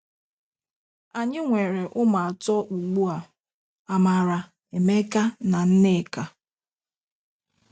Anyị nwere ụmụ atọ ugbu a: Amara, Emeka, na nneka.